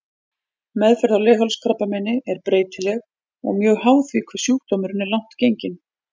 Meðferð á leghálskrabbameini er breytileg og mjög háð því hve sjúkdómurinn er langt genginn.